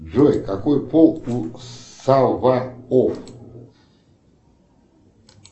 джой какой пол у саваоф